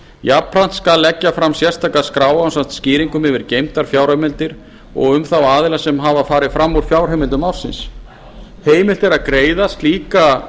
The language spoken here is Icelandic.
jafnframt skal leggja fram sérstaka skrá ásamt skýringum yfir geymdar fjárheimildir og um þá aðila sem farið hafa fram úr fjárheimildum ársins heimilt er að greiða slíka